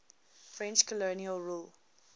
french colonial rule